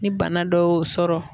Ni bana dɔ y'o sɔrɔ